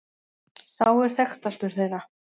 Sá er þekktastur þeirra.